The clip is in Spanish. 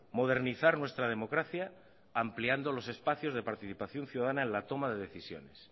modernizar nuestra democracia ampliando los espacios de participación ciudadana en la toma de decisiones